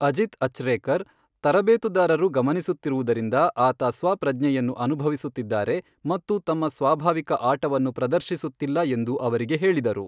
ಅಜಿತ್ ಅಚ್ರೇಕರ್, ತರಬೇತುದಾರರು ಗಮನಿಸುತ್ತಿರುವುದರಿಂದ ಆತ ಸ್ವಪ್ರಜ್ಞೆಯನ್ನು ಅನುಭವಿಸುತ್ತಿದ್ದಾರೆ ಮತ್ತು ತಮ್ಮ ಸ್ವಾಭಾವಿಕ ಆಟವನ್ನು ಪ್ರದರ್ಶಿಸುತ್ತಿಲ್ಲ ಎಂದು ಅವರಿಗೆ ಹೇಳಿದರು.